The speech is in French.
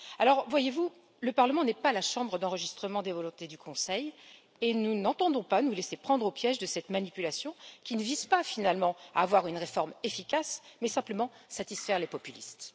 Alors voyez vous, le Parlement n'est pas la chambre d'enregistrement des volontés du Conseil et nous n'entendons pas nous laisser prendre au piège de cette manipulation qui ne vise pas finalement à avoir une réforme efficace, mais simplement à satisfaire les populistes.